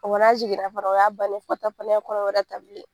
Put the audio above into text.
Wa n'a jiginna fana o ya bannen ye , fo ka taa fɔ n'a ye kɔnɔ wɛrɛ ta bilen.